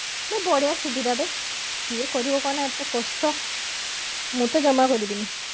ନା ବଢିଆ ସୁବିଧା ବେ କିଏ କରିବ କହ ନା ଏତେ କଷ୍ଟ ମୁଁ ତ ଜମା କରିବିନି